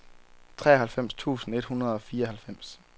treoghalvfems tusind et hundrede og fireoghalvfems